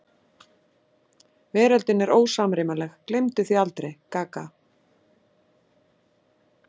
Veröldin er ósamrýmanleg, gleymdu því aldrei: gaga.